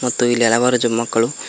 ಮತ್ತು ಇಲ್ಲಿ ಹಲವಾರು ಜ ಮಕ್ಕಳು--